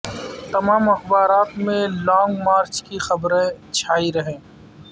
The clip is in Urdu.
تمام اخبارات میں لانگ مارچ کی خبرویں چھائی رہیں